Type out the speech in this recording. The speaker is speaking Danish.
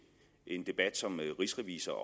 en debat som rigsrevisor